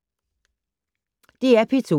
DR P2